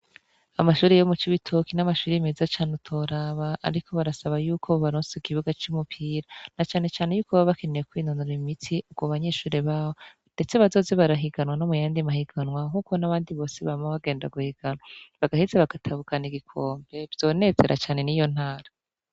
Amashuri ybo muc' uwitoki n'amashuri meza cane utoraba, ariko barasaba yuko baronse ikibuga c'umupira na canecane yuko baba bakeneye kwinonura imiti uko banyeshure bawo, ndetse bazozi barahiganwa no mu yandi mahiganwa nk'uko n'abandi bose bama bagenda guhiganwa bagaheze bagatabukana igikompe vyonezera cane ni yo ntara.